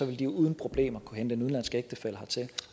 vil de uden problemer kunne hente en udenlandsk ægtefælle hertil